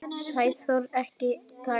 Árið er pakkað, vægast sagt.